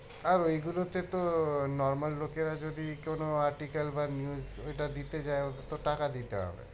আর ওই গুলোতে তো normal লোকেরা যদি কোনো airticle বা news ওইটা দিতে যায় ওতে তোট